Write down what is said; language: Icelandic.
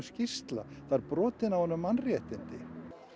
skýrsla það eru brotin á honum mannréttindi